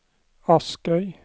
Askøy